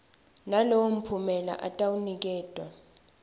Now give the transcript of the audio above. nalowo mphumela atawuniketwa